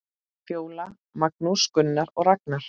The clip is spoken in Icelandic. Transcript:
Fjóla, Magnús, Gunnar og Ragnar.